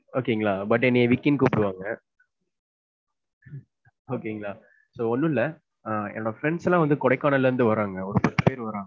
Okay ங்களா but என்னைய விக்கினு கூப்பிடுவாங்க. okay ங்களா, so ஒன்னும் இல்ல அஹ் என்னோட friends எல்லாம் வந்து கொடைக்கானல் ல இருந்து வராங்க. ஒரு பத்து பேர் வராங்க.